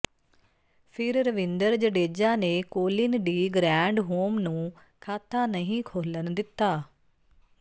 ਫਿਰ ਰਵਿੰਦਰ ਜਡੇਜਾ ਨੇ Colin de Grandhomme ਨੂੰ ਖ਼ਾਤਾ ਨਹੀਂ ਖੋਲ੍ਹਣ ਦਿੱਤਾ